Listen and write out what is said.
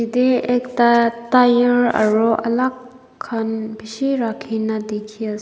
Yate ekta tyre aro alak khan beshi rakhi kena dekhi as .